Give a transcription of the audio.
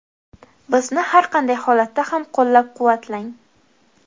Bizni har qanday holatda ham qo‘llab-quvvatlang.